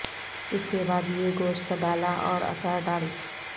اس کے بعد یہ گوشت ڈالا اور اچار ڈال